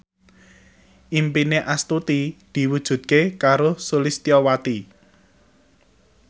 impine Astuti diwujudke karo Sulistyowati